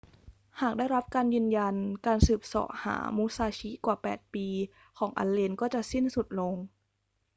หากได้รับการยืนยัน การสืบเสาะหามุซาชิกว่า 8 ปีของอัลเลนก็จะเสร็จสิ้นลง